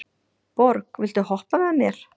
Borg, viltu hoppa með mér?